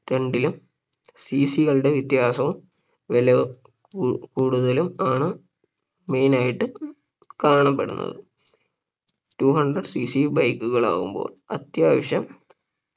രണ്ടിലും CC കളുടെ വ്യത്യാസവും വില കൂ കൂടുതലും ആണ് Main ആയിട്ട് കാണപ്പെടുന്നത് Two hundredCCBike കളാകുമ്പോൾ അത്യാവശ്യം